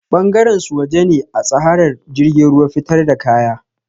Bangaren su waje ne atsahar jirgin ruwa fitar da kaya